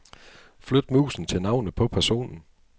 Flyt musen til navnet på personen.